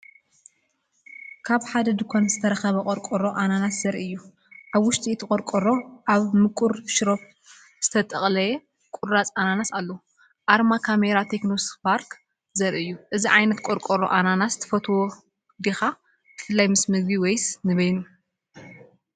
ካብ ሓደ ድኳን ዝተረኽበ ቆርቆሮ ኣናናስ ዘርኢ እዩ። ኣብ ውሽጢ እቲ ቆርቆሮ ኣብ ምቁር ሽሮፕ ዝተጠልቀየ ቁራጽ ኣናናስ ኣሎ። ኣርማ ካሜራ ቴክኖ ስፓርክ ዘርኢ እዩ። እዚ ዓይነት ቆርቆሮ ኣናናስ ትፈትዎ ዲኻ፡ ብፍላይ ምስ መግቢ ወይስ ንበይኑ?